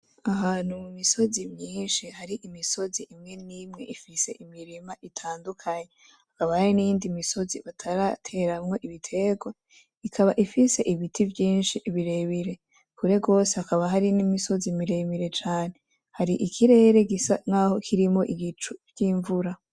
Ahantu mu misozi myinshi hari imisozi imwe n’imwe ifise imirima itandukanye hakaba hari niyindi misozi batarateramwo ibitegwa ikaba ifise ibiti vyinshi birebire kure gwose hakaba hari n’imisozi miremire cane hari ikirere gisa nkaho kirimwo igicu vy’invura.